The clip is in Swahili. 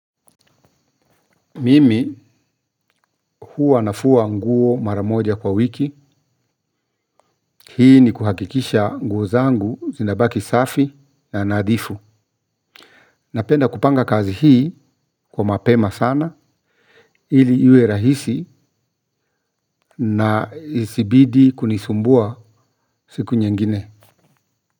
Mimi huwa nafua nguo maramoja kwa wiki. Hii ni kuhakikisha nguo zangu zinabaki safi na nadhifu. Napenda kupanga kazi hii kwa mapema sana ili iwe rahisi na isibidi kunisumbua siku nyingine.